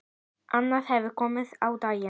Annað hefur komið á daginn.